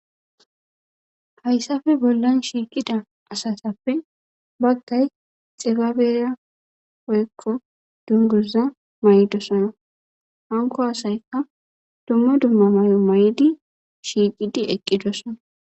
Hayssafe bollan shiiqida asatappe baggay xibabeera oyekko dunguza may7dosana hanko asaykka dumma dumma may7o may7di shiiqidi eqqidosana.